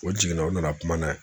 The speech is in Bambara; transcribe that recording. O jiginna o nana kuma n'a ye.